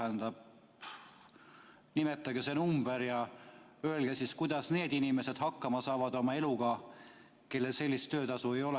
Tähendab, nimetage see number ja öelge, kuidas need inimesed hakkama saavad oma eluga, kellel sellist töötasu ei ole.